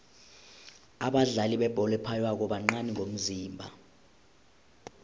abadlali bebholo ephaywako bancani ngomzimba